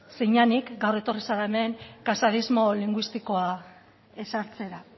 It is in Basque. zinenik gaur etorri zara hemen casadismo linguistikoa ezartzera